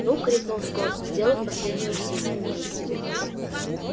ну крикнул скотт сделав последнее усилие